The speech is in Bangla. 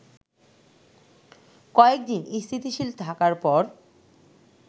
কয়েকদিন স্থিতিশীল থাকার পর